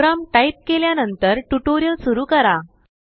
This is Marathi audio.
प्रोग्राम टाईप केल्यानंतरटुटोरिअल सुरु करा